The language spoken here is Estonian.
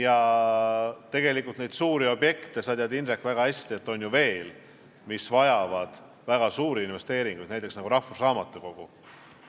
Aga sa ju tead, Indrek, väga hästi, et tegelikult neid suuri objekte on ju veel, mis vajavad väga suuri investeeringuid, näiteks rahvusraamatukogu.